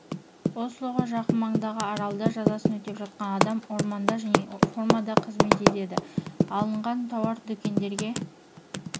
ослоға жақын маңдағы аралда жазасын өтеп жатқан адам орманда және фермада қызмет етеді алынған тауар дүкендерге